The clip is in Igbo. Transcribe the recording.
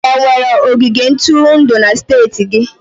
Enwere ogige ntụrụndụ na steeti gị?